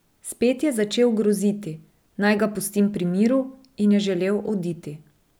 Spet je začel groziti, naj ga pustim pri miru in je želel oditi.